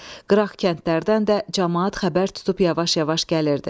Qıraq kəndlərdən də camaat xəbər tutub yavaş-yavaş gəlirdi.